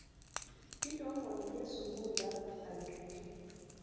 kintoomon iyie sukuul ang aitoki